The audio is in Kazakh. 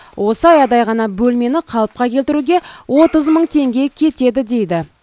осы аядай ғана бөлмені қалыпқа келтіруге отыз мың теңге кетеді дейді